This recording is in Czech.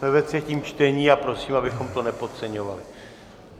Jsme ve třetím čtení a prosím, abychom to nepodceňovali.